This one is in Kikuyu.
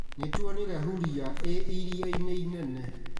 Nĩtuonire huria ĩ iria-inĩ inene